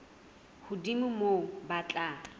hodimo ho moo ba tla